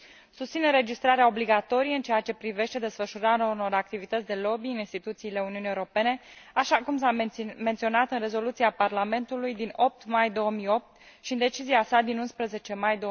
Susțin înregistrarea obligatorie în ceea ce privește desfășurarea unor activități de lobby în instituțiile Uniunii Europene, așa cum s a menționat în Rezoluția Parlamentului din 8 mai 2008 și în decizia sa din 11 mai